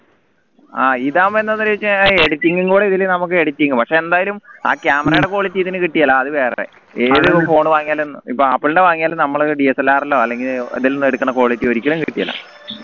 ആ ഇതാവുമ്പോ എന്താ editing കൂടെ ഇതില് നമുക്ക് editing പക്ഷേ എന്തായാലും ആ camera യുടെ quality ഇതിന് കിട്ടില്ല അത് വേറെ ഏതൊരു phone വാങ്ങിയാലും ഇപ്പോ apple ന്റെ വാങ്ങിയാലും നമ്മള് DSLR ലോ അല്ലെങ്കിൽ ഇതിൽ നിന്ന് എടുക്കണ quality ഒരിക്കലും കിട്ടില്ല